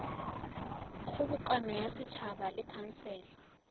kgobokano ya setšhaba le khansele